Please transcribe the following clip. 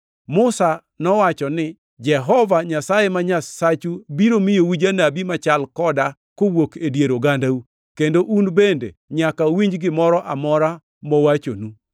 Musa nowacho ni, ‘Jehova Nyasaye ma Nyasachu biro miyou janabi machal koda kowuok e dier ogandau, kendo un bende nyaka uwinj gimoro amora mowachonu.